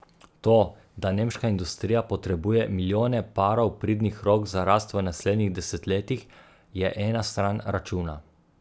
To, da nemška industrija potrebuje milijone parov pridnih rok za rast v naslednjih desetletjih, je ena stran računa.